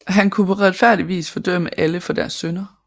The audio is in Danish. Han kunne på retfærdigt vis fordømme alle for deres synder